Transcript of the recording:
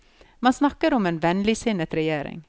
Man snakker om en vennligsinnet regjering.